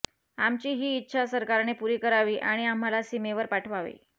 आमची हि इच्छा सरकारने पुरी करावी आणि आम्हाला सीमेवर पाठवावे